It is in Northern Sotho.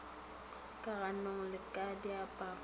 ka ganong le ka diaparong